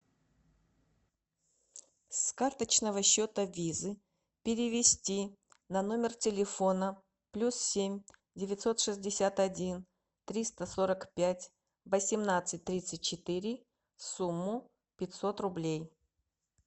с карточного счета визы перевести на номер телефона плюс семь девятьсот шестьдесят один триста сорок пять восемнадцать тридцать четыре сумму пятьсот рублей